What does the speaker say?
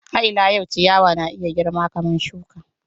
Har ila yau, ciyawa na iya girma kamar shuka.